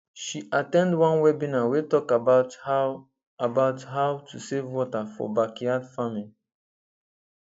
she at ten d one webinar wey talk about how about how to save water for backyard farming